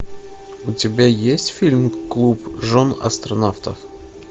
у тебя есть фильм клуб жен астронавтов